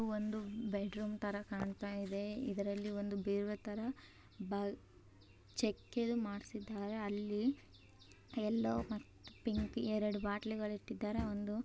ಇದು ಒಂದು ಬೆಡ್ರೂಮ್ ತರ ಕಾಣ್ತಾ ಇದೆ. ಇದರಲ್ಲಿ ಒಂದು ಬೀರು ತರ ಬಾ ಚಕ್ಕೆದು ಮಾಡಿಸಿದ್ದಾರೆ ಅಲ್ಲಿ ಎಲ್ಲೋ ಮತ್ತು ಪಿಂಕ್ ಎರಡು ಬಾಟ್ಲು ಇಟ್ಟಿದ್ದಾರೆ. ಒಂದು--